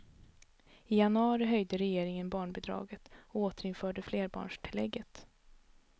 I januari höjde regeringen barnbidraget och återinförde flerbarnstillägget.